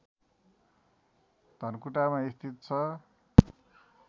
धनकुटामा स्थित छ